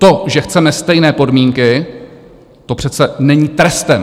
To, že chceme stejné podmínky, to přece není trestem.